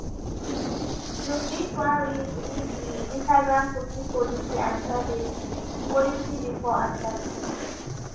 you fit wan read read di instagramcookie policyandprivacy policybefore accepting.